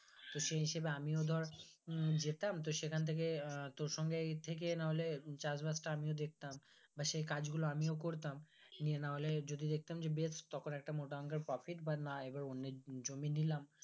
তো সেই হিসাবে আমিও ধর উম যেতাম তো সেখান থেকে তোর সঙ্গেই থেকে নাহলে চাষবাস টা আমিও দেখতাম বা সেই কাজগুলো আমিও করতাম নিয়ে নাহলে যদি দেখতাম বেশ তখন একটা মোটা অঙ্কের profit বা অন্যের জমি নিলাম